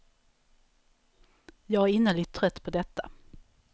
Jag är innerligt trött på detta.